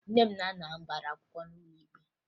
Nne na nna m gbara akwụkwọ n'ụlọ ikpe